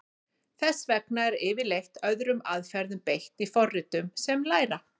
Þess vegna er yfirleitt öðrum aðferðum beitt í forritum sem læra.